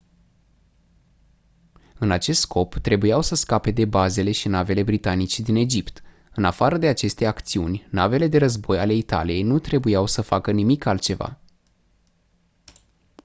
în acest scop trebuiau să scape de bazele și navele britanice din egipt în afară de aceste acțiuni navele de război ale italiei nu trebuiau să facă nimic altceva